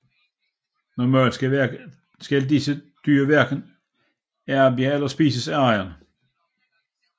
Normalt skal disse dyr hverken arbejde eller spises af ejeren